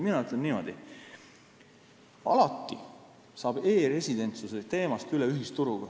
Ütlen niimoodi: alati saab e-residentsuse teemast üle ühisturuga.